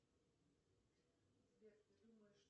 сбер ты думаешь